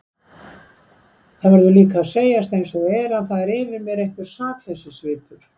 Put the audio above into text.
Það verður líka að segjast einsog er að það er yfir mér einhver sakleysissvipur.